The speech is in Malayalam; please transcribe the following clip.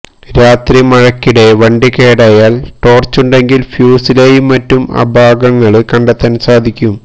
രാത്രി മഴയ്ക്കിടെ വണ്ടി കേടായാല് ടോര്ച്ചുണ്ടെങ്കില് ഫ്യൂസിലെയും മറ്റും അപാകങ്ങള് കണ്ടെത്താന് സാധിക്കും